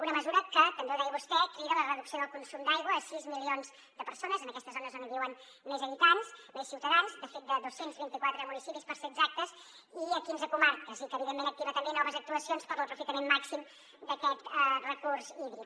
una mesura que també ho deia vostè crida a la reducció del consum d’aigua a sis milions de persones en aquestes zones on viuen més habitants més ciutadans de fet de dos cents i vint quatre municipis per ser exactes i a quinze comarques i que evidentment activa també noves actuacions per a l’aprofitament màxim d’aquest recurs hídric